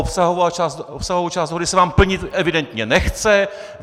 Obsahovou část dohody se vám plnit evidentně nechce.